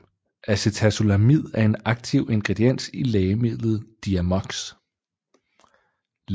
Acetazolamid er en aktiv ingrediens i lægemidlet Diamox